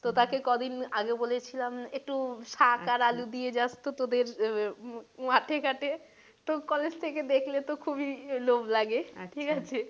তো তাকে কদিন আগে বলেছিলাম একটু শাক আর আলু দিয়ে জাস তো তোদের মাঠে ঘাটে তো college থেকে দেখলে তো খুবই লোভ লাগে ঠিক আছে?